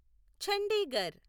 Chandigarh